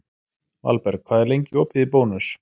Valberg, hvað er lengi opið í Bónus?